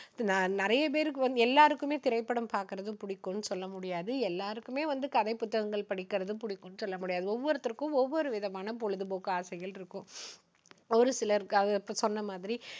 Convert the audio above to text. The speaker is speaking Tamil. நி~நிறைய பேருக்கு வந்து எல்லாருக்குமே திரைப்படம் பார்க்கிறது புடிக்கும்னு சொல்ல முடியாது. எல்லாருக்குமே வந்து கதை புத்தகங்கள் படிக்கறது புடிக்கும்ன்னு சொல்ல முடியாது. ஒவ்வொருத்தருக்கும் ஒவ்வொரு விதமான பொழுதுபோக்கு ஆசைகள் இருக்கும். ஒருசிலர், க~இப்போ சொன்ன மாதிரி